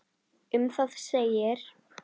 Um það segir: